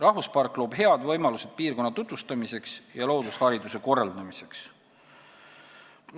Rahvuspark loob head võimalused piirkonna tutvustamiseks ja loodushariduse korraldamiseks.